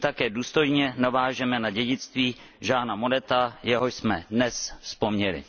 Tím také důstojně navážeme na dědictví Jeana Moneta, jehož jsme dnes vzpomněli.